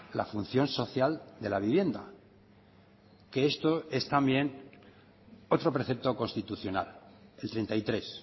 la función social de la vivienda que esto es también otro precepto constitucional el treinta y tres